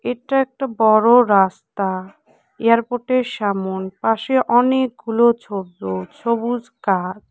এটা একটা বড় রাস্তা এয়ারপোর্টের সামোন পাশে অনেকগুলো ছোট সবুজ গাছ